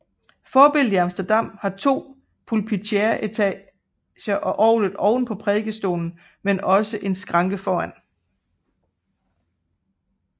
Forbilledet i Amsterdam har to pulpituretager og orglet oven på prædikestolen men også en skranke foran